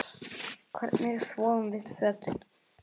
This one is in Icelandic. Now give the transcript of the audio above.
Hvernig þvoum við fötin?